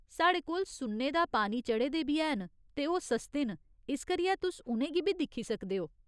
साढ़े कोल सुन्ने दा पानी चढ़े दे बी हैन ते ओह् सस्ते न, इस करियै तुस उ'नें गी बी दिक्खी सकदे ओ।